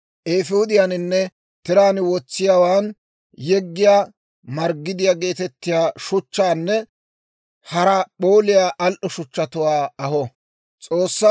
eefuudiyaaninne tiraan wotsiyaawaan yeggiyaa marggidiyaa geetettiyaa shuchchatuwaanne hara p'ooliyaa al"o shuchchatuwaa aho.